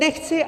Nechci -